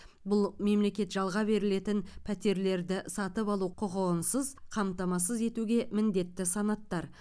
бұл мемлекет жалға берілетін пәтерлерді сатып алу құқығынсыз қамтамасыз етуге міндетті санаттар